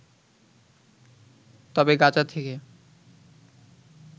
তবে গাজা থেকে